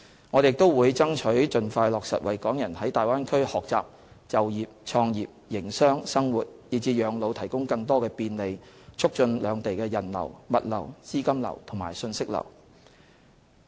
我們亦會爭取盡快落實為港人在大灣區學習、就業、創業、營商、生活以至養老提供更多便利，促進兩地人流、物流、資金流和訊息流。